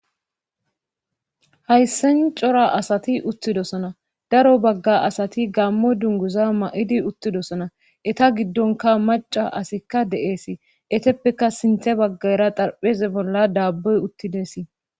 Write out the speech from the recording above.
Hayssan cora asati uttidosona daro bagga asati gaammo dungguza mayidi uttidosna eta giddonkka macca asi de7eesi etappeka sintha baggaara xarpheeza bolla daabboy uttidesi.